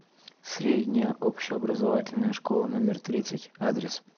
средняя общеобразовательная школа номер тридцать адрес